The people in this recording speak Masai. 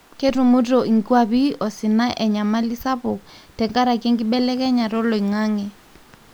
ketumito inkwapi osina enyamali sapuk tenkaraki enkibelekenyata oloingange.